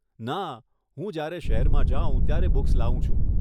ના, હું જ્યારે શહેરમાં જાઉ ત્યારે બુક્સ લાવું છું.